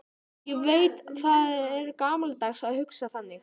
Ég veit að það er gamaldags að hugsa þannig.